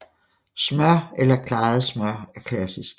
Smør eller klaret smør er klassisk